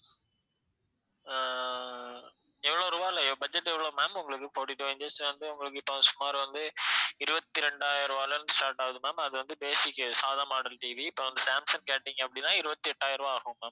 ஆஹ் எவ்வளவு ரூபாய்ல budget எவ்வளவு ma'am உங்களுக்கு fourty-two inches வந்து உங்களுக்கு இப்ப சுமார் வந்து இருவத்தி ரெண்டாயிரம் ரூபாய்ல இருந்து start ஆகுது ma'am அது வந்து basic சாதா model TV இப்ப சாம்சங் கேட்டிங்க அப்படினா இருவத்தி எட்டாயிரம் ரூபாய் ஆகும் ma'am